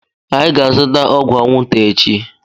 Anyị ga-azụta ọgwụ anwụnta echi.